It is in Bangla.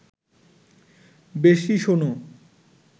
বেশি শোনো